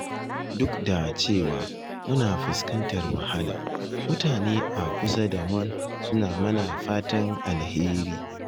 Duk da cewa muna fuskantar wahala mutane a kusa da mu suna mana fatan alheri